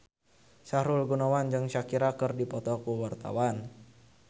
Sahrul Gunawan jeung Shakira keur dipoto ku wartawan